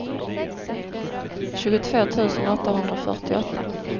tjugotvå tusen åttahundrafyrtioåtta